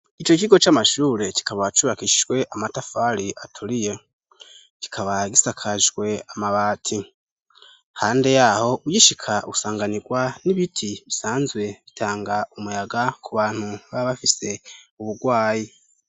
ico kigo c'amashure kikaba cubakishijwe amatafari aturiye kikaba gisakajwe amabati hande yaho uyishika busanganirwa n'ibiti bisanzwe bitanga umuyaga ku bantu ba bafise ubugwayi